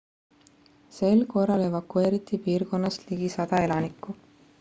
sel korral evakueeriti piirkonnast ligi 100 elanikku